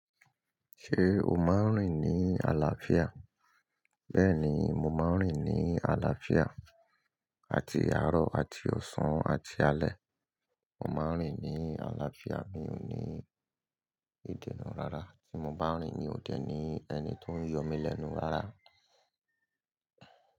Ṣé o máa ń rìn ní àlàáfíà? Bẹ́ẹ̀ni, mo máa ń rìn ní àlàáfíà àti àárọ̀ àti ọ̀sán àti alẹ́. Mo máa ń rìn ní àlàáfíà. Mi ò ní ìdènà rárá tí mo bá ń rìn. Mi ò dẹ̀ ní ẹni tó ń yọ mí lẹ́nu rárá.